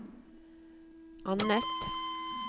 annet